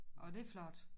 Orh det flot